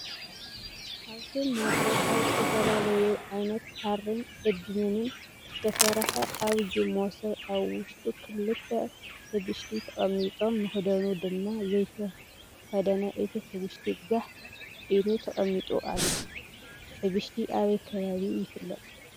ኣብቲ መሶብ ካብ ዝትፈላለዩ ዓይነት ሃርን እድንን ዝተስረሐ ዓብዪ መሶብ ኣብ ውሽጡ ክልተ ሕብሽቲ ተቀሚጦም መክደኑ ድማ ዘይተከደነ እቲ ሕብሽቲ ጋሕ ኢሉ ተቐሚጡ ኣሎ፡፡ ሕብሽቲ ኣበይ ከባቢ ይፍለጥ?